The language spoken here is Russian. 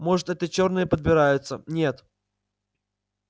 может это чёрные подбираются нет